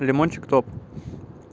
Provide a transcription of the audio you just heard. лимончик топ